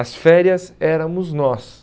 As férias éramos nós.